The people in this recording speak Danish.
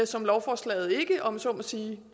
som lovforslaget ikke om jeg så må sige